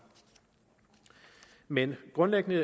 men grundlæggende